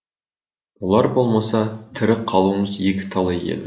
олар болмаса тірі қалуымыз екіталай еді